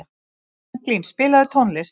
Franklín, spilaðu tónlist.